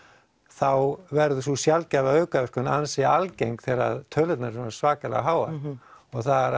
þá verður sú sjaldgæfa aukaverkun ansi algeng þegar tölurnar eru svona svakalega háar og það